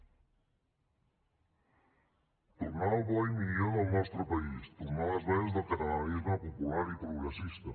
tornar al bo i millor del nostre país tornar a les bases del catalanisme popular i progressista